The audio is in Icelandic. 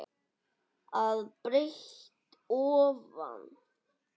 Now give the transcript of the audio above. að breidd ofan.